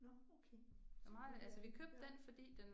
Nåh okay. Så meget